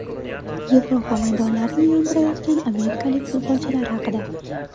Yevropa maydonlarini yondirayotgan amerikalik futbolchilar haqida.